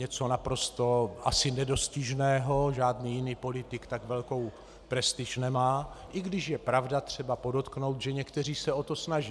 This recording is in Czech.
Něco naprosto asi nedostižného, žádný jiný politik tak velkou prestiž nemá, i když, pravda, je třeba podotknout, že někteří se o to snaží.